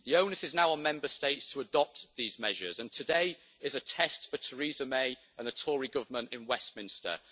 The onus is now on Member States to adopt these measures, and today is a test for Theresa May and the Tory Government in Westminster.